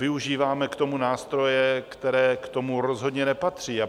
Využíváme k tomu nástroje, které k tomu rozhodně nepatří.